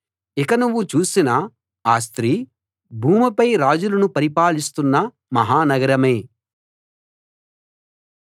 ఇక నువ్వు చూసిన ఆ స్త్రీ భూమిపై రాజులను పరిపాలిస్తున్న మహా నగరమే